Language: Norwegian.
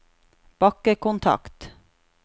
bakkekontakt